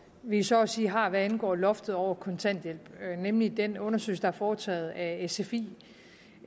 vi så at sige har hvad angår loftet over kontanthjælp nemlig den undersøgelse der er foretaget af sfi